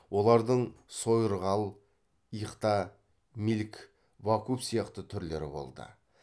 олардың сойырғал иқта милк вакуф сияқты түрлері болды